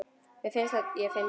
Mér finnst ég fyndin.